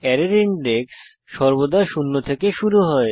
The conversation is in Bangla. অ্যারের ইনডেক্স সর্বদা শূন্য থেকে শুরু হয়